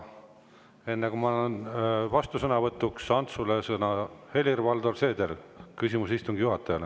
Enne kui ma annan vastusõnavõtuks sõna Antsule, on Helir-Valdor Seedril küsimus istungi juhatajale.